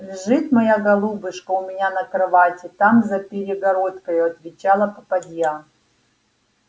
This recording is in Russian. лежит моя голубушка у меня на кровати там за перегородкою отвечала попадья